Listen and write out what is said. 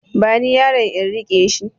Bani yaron in riƙe shi